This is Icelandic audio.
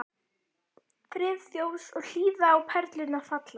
Friðþjófs og hlýða á perlurnar falla.